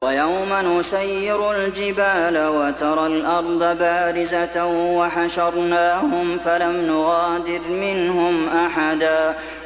وَيَوْمَ نُسَيِّرُ الْجِبَالَ وَتَرَى الْأَرْضَ بَارِزَةً وَحَشَرْنَاهُمْ فَلَمْ نُغَادِرْ مِنْهُمْ أَحَدًا